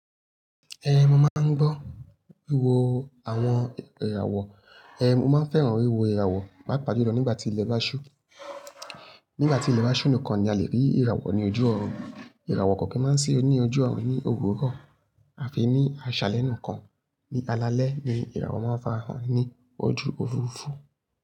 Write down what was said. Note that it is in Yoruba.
Eh, mo máa ń gbọ́ wíwo àwọn ìràwọ̀. Eh, mo máa ń fẹ́ràn wíwo ìràwọ̀, paapaá júlọ nígbà tí ilẹ̀ bá ṣú. Nígbà tí ilẹ̀ bá ṣú nìkan ni a lè rí ìràwọ̀ ní ojú ọ̀run. Ìràwọ̀ kọ̀ ki n máa ń sí ní ojú ọ̀run ní òwurọ àfi ní aṣàlẹ́ nìkan. Ni alalẹ́ ni ìràwọ̀ máa ń fara hàn ní ojú òfurufú.